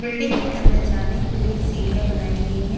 Building के अंदर जाने के लिए सीढ़ियां बनाई गई हैं।